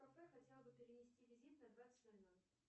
в кафе хотела бы перенести визит на двадцать ноль ноль